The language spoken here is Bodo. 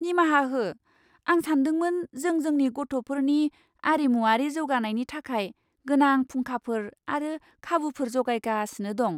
निमाहा हो! आं सानदोंमोन जों जोंनि गथ'फोरनि आरिमुवारि जौगानायनि थाखाय गोनां फुंखाफोर आरो खाबुफोर जगायगासिनो दं!